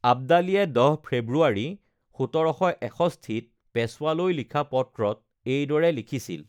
আব্দালীয়ে ১০ ফেব্ৰুৱাৰী, ১৭৬১-ত পেশ্বৱালৈ লিখা পত্ৰত এইদৰে লিখিছিল: